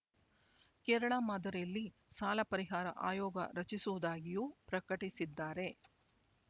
ಕೇರಳ ಮಾದರಿಯಲ್ಲಿ ಸಾಲ ಪರಿಹಾರ ಆಯೋಗ ರಚಿಸುವುದಾಗಿಯೂ ಪ್ರಕಟಿಸಿದ್ದಾರೆ